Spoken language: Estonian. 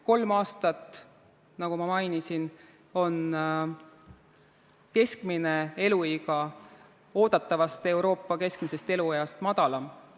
Kolm aastat, nagu ma mainisin, on keskmine eluiga oodatavast Euroopa keskmisest elueast lühem olnud.